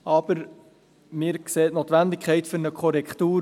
Wir sehen aber, wie der Motionär, die Notwendigkeit einer Korrektur.